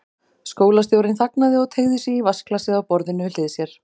Skólastjórinn þagnaði og teygði sig í vatnsglasið á borðinu við hlið sér.